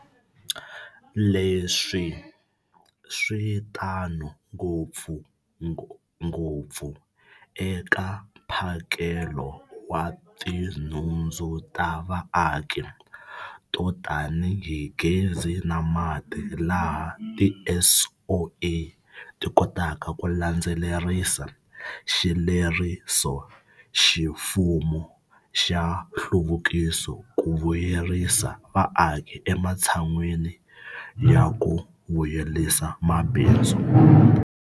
Leswi swi tano ngopfungopfu eka mphakelo wa tinhundzu ta vaaki to tanihi gezi na mati, laha tiSOE ti kotaka ku landzelerisa xilerisoximfumo xa nhluvukiso ku vuyerisa vaaki ematshan'weni ya ku vuyerisa mabindzu.